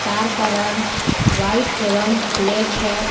Car का रंग white एवं ब्लैक है।